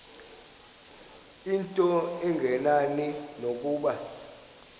into engenani nokuba